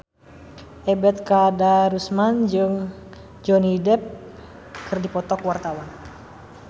Ebet Kadarusman jeung Johnny Depp keur dipoto ku wartawan